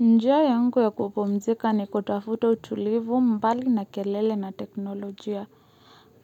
Njia yangu ya kupomzika ni kutafuta utulivu mbali na kelele na teknolojia.